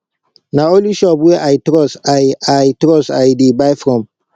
na only shop wey i trust i i trust i dey buy from